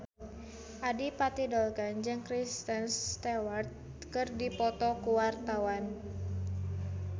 Adipati Dolken jeung Kristen Stewart keur dipoto ku wartawan